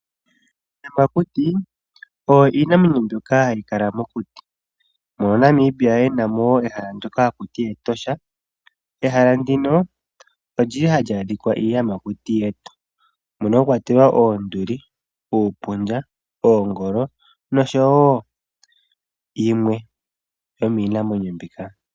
Iiyamàkuti oyo iinamwenyo mbyoka hayi kala mokuti mono Namibia yenamo ehala ndoka hakuti Etosha, ehala ndino olyili hali adhikwa iiyamakuti yetu mono mwakwatelwa oonduli, uupundja, oongolo noshowo yimwe yomiinamwenyo mbika.